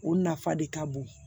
O nafa de ka bon